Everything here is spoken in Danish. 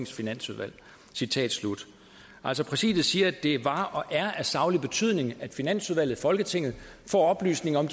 finansudvalg altså præsidiet siger at det var og er af saglig betydning at finansudvalget i folketinget får oplysning om